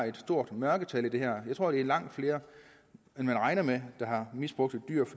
et stort mørketal i det her jeg tror det er langt flere end man regner med der har misbrugt et dyr